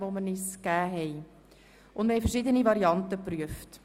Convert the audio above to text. Wir haben verschiedene Varianten geprüft.